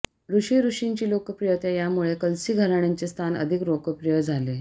ऋषी ऋषींची लोकप्रियता यामुळे कलसी घराण्याचे स्थान अधिक लोकप्रिय झाले